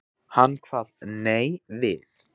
Hann kvað nei við.